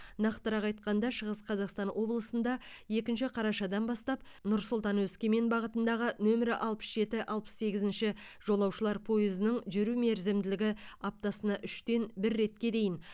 нақтырақ айтқанда шығыс қазақстан облысында екінші қарашадан бастап нұр сұлтан өскемен бағытындағы нөмірі алпыс жеті алпыс сегізінші жолаушылар пойызының жүру мерзімділігі аптасына үштен бір ретке дейін